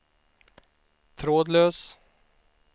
trådlös